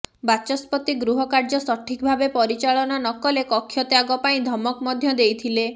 ବାଚସ୍ପତି ଗୃହ କାର୍ୟ୍ୟ ସଠିକ୍ ଭାବେ ପରିଚାଳନା ନକଲେ କକ୍ଷତ୍ୟାଗ ପାଇଁ ଧମକ ମଧ୍ୟ ଦେଇଥିଲେ